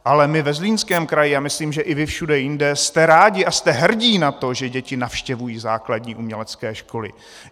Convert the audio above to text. Ale my ve Zlínském kraji a myslím, že i vy všude jinde, jste rádi a jste hrdí na to, že děti navštěvují základní umělecké školy.